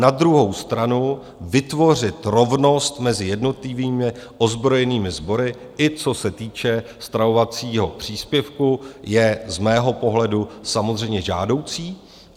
Na druhou stranu vytvořit rovnost mezi jednotlivými ozbrojenými sbory, i co se týče stravovacího příspěvku, je z mého pohledu samozřejmě žádoucí.